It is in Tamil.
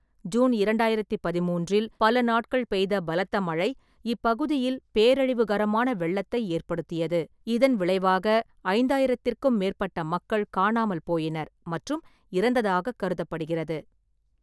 ஜூன் இரண்டாயிரத்தி பதிமூன்றில், பல நாட்கள் பெய்த பலத்த மழை இப்பகுதியில் பேரழிவுகரமான வெள்ளத்தை ஏற்படுத்தியது, இதன் விளைவாகஐந்தாயிரத்திற்கும் மேற்பட்ட மக்கள் காணாமல் போயினர் மற்றும் இறந்ததாகக் கருதப்படுகிறது.